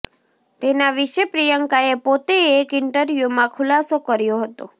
તેના વિશે પ્રિયંકાએ પોતે એક ઈન્ટર્વ્યુમાં ખુલાસો કર્યો હતો